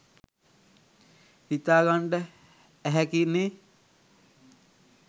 හිතාගන්ඩ ඇහැකි නේ